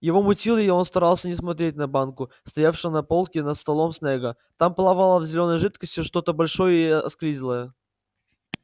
его мутило и он старался не смотреть на банку стоявшую на полке над столом снегга там плавало в зелёной жидкости что-то большое и осклизлое